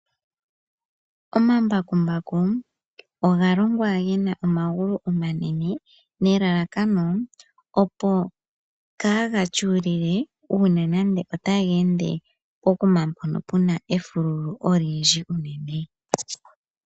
Omambakumbaku oga longwa gena omagulu omanene nelalakano opo kaaga tyuulile unene nande otaga ende pokuma puna efululu olindji.